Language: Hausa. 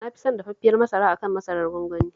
Na fi son dafaffiyar masara a kan masarar gwangwani